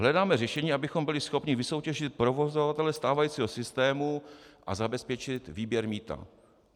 Hledáme řešení, abychom byli schopni vysoutěžit provozovatele stávajícího systému a zabezpečit výběr mýta.